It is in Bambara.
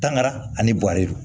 Tangara ani guari